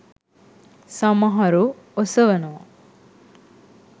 සමහරු ඔසවනවා.